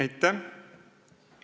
Aitäh!